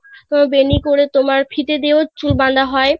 বেনি করে তোমার ফিতে দিয়েও চুল বাধা হয়